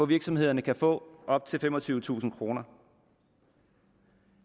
virksomhederne kan få op til femogtyvetusind kroner